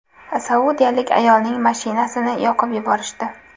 Saudiyalik ayolning mashinasini yoqib yuborishdi .